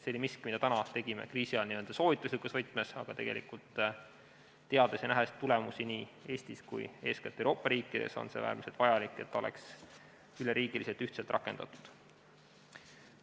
See oli miski, mida me kriisiajal tegime n-ö soovituslikus võtmes, aga teades ja nähes tulemusi nii Eestis kui ka eeskätt teistes Euroopa riikides, on äärmiselt vajalik, et see oleks üle riigi ühtselt rakendatud.